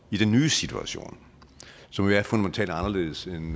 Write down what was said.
i den nye situation som er fundamentalt anderledes end